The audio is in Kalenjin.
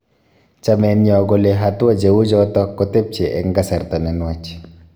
Chameenyo kole hatua cheuchoto kotepche eng kasarta ne nwach